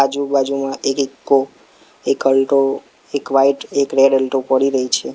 આજુ બાજુમાં એક ઇકો એક અલ્ટો એક વ્હાઇટ એક રેડ અલ્ટો પડી રહી છે.